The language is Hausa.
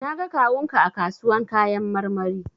Na ga kawun ka a kasuwan kayan marmari.